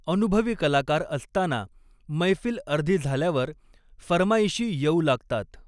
अनुभवी कलाकार असताना, मैफिल अर्धी झाल्यावर फर्माईशी येऊ लागतात.